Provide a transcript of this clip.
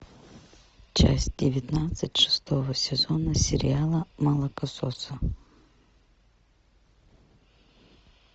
часть девятнадцать шестого сезона сериала молокососы